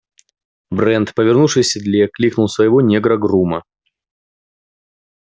брент повернувшись в седле кликнул своего негра-грума